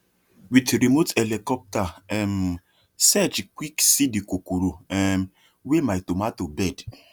with remote helicopter um searchi quick see the kokoro um wey my tomato bed